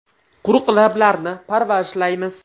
Quruq lablarni parvarishlaymiz.